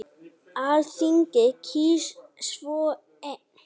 Alþingi kýs svo einn.